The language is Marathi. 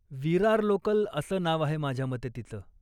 विरार लोकल असं नाव आहे माझ्या मते तिचं.